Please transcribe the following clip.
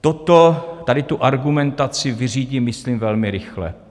Toto, tady tu argumentaci, vyřídím myslím velmi rychle.